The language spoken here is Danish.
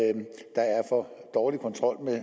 for dårlig kontrol